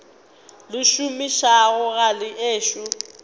le šomišago ga le ešo